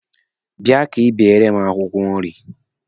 Bia ka ị beere m akwụkwọ nri!